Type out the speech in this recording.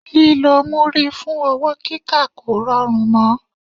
Lílọ múrí fún owó kíkà kò rọrùn mọ́.